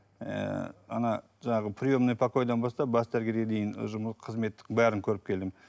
ыыы ана жаңағы приемный покойдан бастап бас дәрігерге дейін қызмет бәрін көріп келдім